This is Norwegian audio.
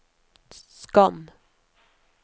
skann